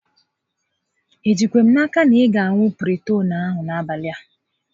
I jikwa n'aka na ị ga aṅụ ọgwụ Piritoonu a n'abalị a?